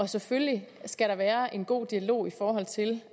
selvfølgelig skal der være en god dialog i forhold til